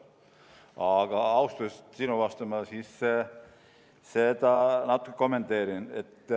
Aga austusest sinu vastu ma seda natukene kommenteerin.